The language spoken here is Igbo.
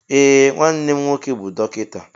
Ee nwannem nwoke bu dọkịta.